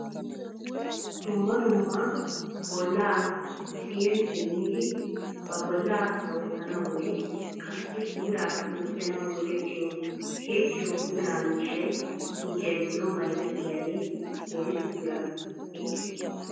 Dumma dumma bollaeecceri simmidi ba bolla sawetanawumne qassi puulaakka gujanaw go"ettiyo tiyettiyo puula miishay suuqiya giddon bayizettiyaage woyssu biraa ekkii?